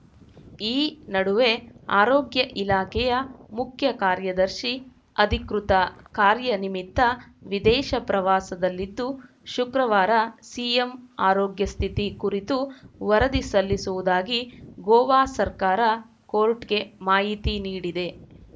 ಈ ನಡುವೆ ಆರೋಗ್ಯ ಇಲಾಖೆಯ ಮುಖ್ಯ ಕಾರ್ಯದರ್ಶಿ ಅಧಿಕೃತ ಕಾರ್ಯ ನಿಮಿತ್ತ ವಿದೇಶ ಪ್ರವಾಸದಲ್ಲಿದ್ದು ಶುಕ್ರವಾರ ಸಿಎಂ ಆರೋಗ್ಯ ಸ್ಥಿತಿ ಕುರಿತು ವರದಿ ಸಲ್ಲಿಸುವುದಾಗಿ ಗೋವಾ ಸರ್ಕಾರ ಕೋರ್ಟ್‌ಗೆ ಮಾಹಿತಿ ನೀಡಿದೆ